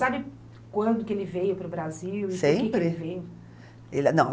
Você sabe quando que ele veio para o Brasil, Brasil, e por que que ele veio?